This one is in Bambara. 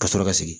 Ka sɔrɔ ka sigi